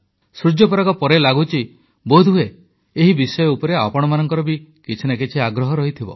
ସୂର୍ଯ୍ୟପରାଗ ପରେ ଲାଗୁଛି ବୋଧହୁଏ ଏହି ବିଷୟ ଉପରେ ଆପଣମାନଙ୍କର ବି କିଛି ନା କିଛି ଆଗ୍ରହ ରହିଥିବ